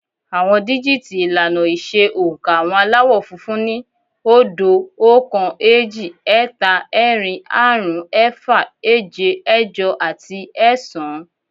Àwọn díjìtì ìlànà ìṣe oǹkà àwọn Aláwọ̀ funfun ni, óódo, oókan, éjì, ẹ́ta, ẹ́rin, áàrún, ẹ́fà, éje, ẹ́jọ àti ẹ́ẹ̀sán